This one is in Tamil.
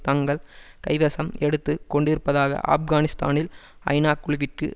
தங்கள் கைவசம் எடுத்து கொண்டிருப்பதாக ஆப்கானிஸ்தானில் ஐநா குழுவிற்கு